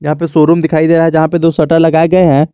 यहां पे शोरूम दिखाई दे रहा है जहां पे दो शटर लगाए गए हैं।